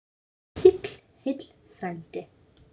Sigl heill frændi.